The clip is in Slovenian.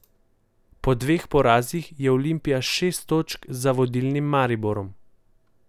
Po dveh porazih je Olimpija šest točk za vodilnim Mariborom.